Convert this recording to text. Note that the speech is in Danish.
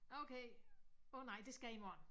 Okay åh nej det skal jeg i morgen